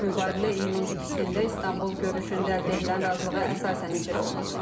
Mübadilə iyunun ikisində İstanbul görüşündə əldə edilən razılığa əsasən icra olunub.